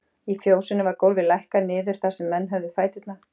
Í fjósinu var gólfið lækkað niður þar sem menn höfðu fæturna.